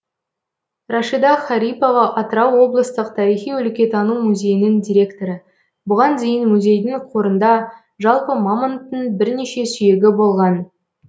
рашида харипова атырау облыстық тарихи өлкетану музейінің директоры бұған дейін музейдің қорында жалпы мамонттың бірнеше сүйегі болған